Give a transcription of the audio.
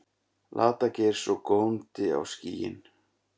Lata-Geirs, og góndi á skýin.